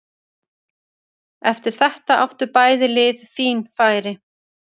Eftir þetta áttu bæði lið fín færi.